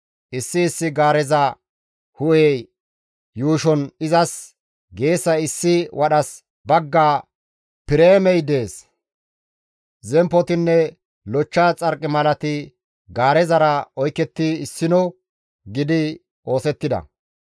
Issi issi gaareza hu7e yuushon izas geesay issi wadhas bagga pireemey dees; zemppotinne lochcha xarqimalati gaarezara oyketti issino gidi oosettida.